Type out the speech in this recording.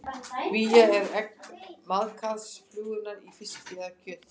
Vía er egg maðkaflugunnar í fiski eða kjöti.